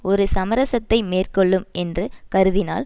ஒரு சமரசத்தை மேற்கொள்ளும் என்று கருதினால்